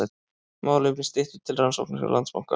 Málefni Styttu til rannsóknar hjá Landsbanka